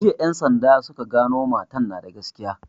Jiya en sanda suka gano matan na da gaskiya